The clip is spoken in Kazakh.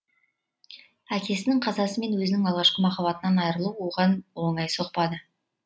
әкесінің қазасы мен өзінің алғашқы махаббатынан айырылу оған оңай соқпадйы